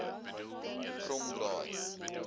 kromdraai